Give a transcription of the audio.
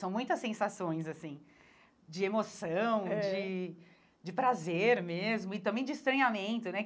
São muitas sensações, assim, de emoção, é de de prazer mesmo e também de estranhamento, né?